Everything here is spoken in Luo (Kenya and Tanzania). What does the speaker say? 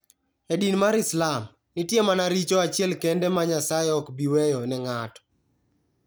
E din mar Islam, nitie mana richo achiel kende ma Nyasaye ok bi weyo ne ng'ato.